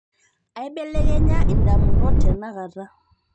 aibelekenya indamunot tenakata